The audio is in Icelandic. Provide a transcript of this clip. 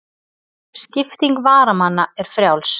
Skipting varamanna er frjáls.